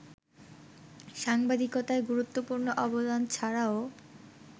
সাংবাদিকতায় গুরুত্বপূর্ণ অবদান ছাড়াও